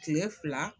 Kile fila